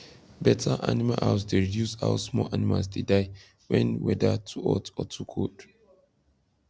better animal house dey reduce how small animals dey die when weather too hot or too cold